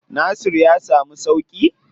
Nasir ya samu sauƙi?